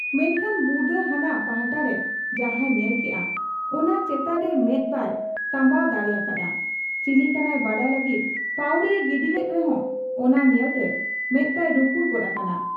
ᱢᱮᱱᱠᱷᱟᱱ ᱵᱩᱫᱟᱹ ᱦᱟᱱᱟ ᱯᱟᱦᱴᱟᱨᱮ ᱡᱟᱦᱟᱸᱭ ᱧᱮᱞ ᱠᱮᱜ ᱟ, ᱚᱱᱟ ᱪᱮᱛᱟᱱ ᱨᱮ ᱢᱮᱫ ᱵᱟᱭ ᱛᱟᱢᱵᱟᱣ ᱫᱟᱲᱮ ᱟᱠᱟ ᱦᱟᱫ ᱟ ᱾ ᱪᱤᱞᱤ ᱠᱟᱱᱟᱭ ᱵᱟᱰᱟᱭ ᱞᱟᱹᱜᱤᱫ ᱯᱟᱹᱣᱲᱤᱭᱮ ᱜᱤᱰᱤᱞᱮᱫ ᱨᱮᱦᱚᱸ ᱚᱱᱟ ᱧᱮᱞᱛᱮ ᱢᱮᱫ ᱛᱟᱭ ᱨᱩᱠᱩᱲ ᱜᱚᱫ ᱟᱠᱟᱱᱟ ᱾